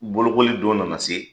Bolokoli don nana se